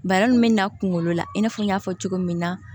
Bana min bɛ na kunkolo la i n'a fɔ n y'a fɔ cogo min na